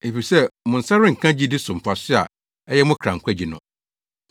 efisɛ mo nsa renka gyidi so mfaso a ɛyɛ mo kra nkwagye no.